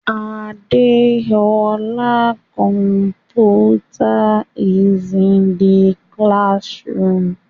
Adeola's computer is in the classroom.